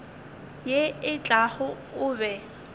ye e tlago o be